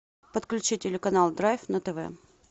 подключи телеканал драйв на тв